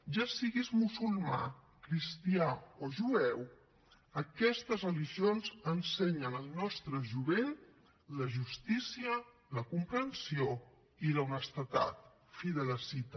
ja siguis musulmà cristià o jueu aquestes religions ensenyen al nostre jovent la justícia la comprensió i l’honestedat fi de la cita